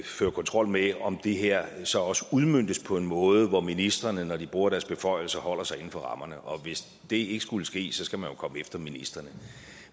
føre kontrol med om det her så også udmøntes på en måde hvor ministrene når de bruger deres beføjelser holder sig inden for rammerne og hvis det ikke skulle ske skal man jo komme efter ministrene